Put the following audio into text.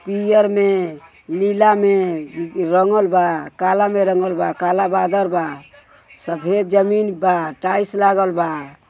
पियर में निला में रंगल बा काला में रंगल बा काला बादड़ बा सफेद जमीन बा टाइल्स लागल बा।